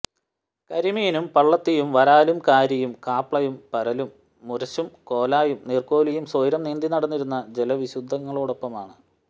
കരിമീനും പളളത്തിയും വരാലും കാരിയും ക്ലാപ്പയും പരലും മുരശും കോലായും നീർക്കോലിയും സ്വൈരം നീന്തിനടന്നിരുന്ന ജലവിശുദ്ധികളോടൊപ്പമാണ്